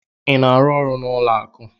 Ị na-arụ n'ụlọ akụ?